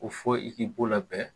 Ko fɔ i k'i bo labɛn